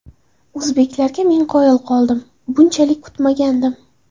O‘zbeklarga men qoyil qoldim, bunchalik kutmagandim.